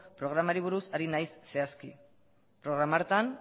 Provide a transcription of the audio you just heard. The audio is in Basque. programari buruz ari naiz zehazki programa hartan